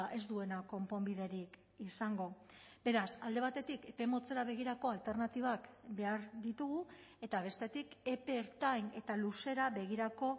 ez duena konponbiderik izango beraz alde batetik epe motzera begirako alternatibak behar ditugu eta bestetik epe ertain eta luzera begirako